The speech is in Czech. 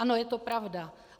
Ano, je to pravda.